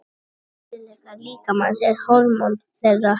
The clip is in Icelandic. Helstu innkirtlar líkamans og hormón þeirra.